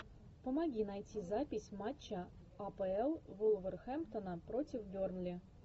помоги найти запись матча апл вулверхэмптона против бернли